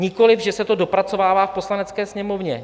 Nikoliv že se to dopracovává v Poslanecké sněmovně.